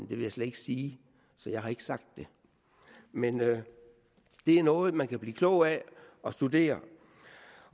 vil jeg slet ikke sige så jeg har ikke sagt det men det er noget man kan blive klog af at studere